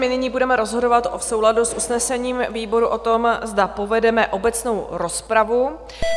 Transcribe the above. My nyní budeme rozhodovat v souladu s usnesením výboru o tom, zda povedeme obecnou rozpravu.